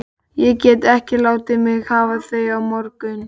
Ég get ekki látið þig hafa þau á morgun